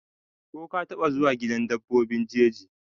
ko ka taba zuwa gidan dabbobi jeji?